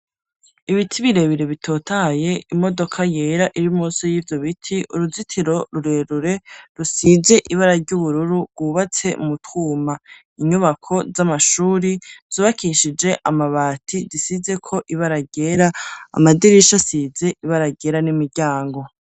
Ibiti birebire bitotaye, imodoka yera iri musi y'ivyo biti uruzitiro rurerure rusize ibara ry'ubururu ,bwubatse mu twuma inyubako z'amashuri zubakishije amabati ,zisize ko ibararyera amadirisha asize ibara ryera n'imiryango.